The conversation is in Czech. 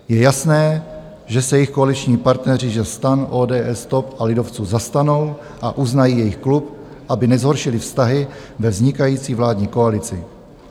Je jasné, že se jich koaliční partneři ze STAN, ODS, TOP a lidovců zastanou a uznají jejich klub, aby nezhoršili vztahy ve vznikající vládní koalici.